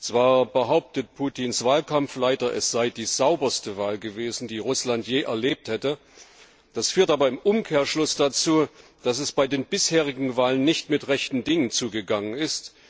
Zwar behauptet Putins Wahlkampfleiter, es sei die sauberste Wahl gewesen, die Russland je erlebt hätte, das führt aber im Umkehrschluss dazu, dass es bei den bisherigen Wahlen nicht mir rechten Dingen zugegangen ist.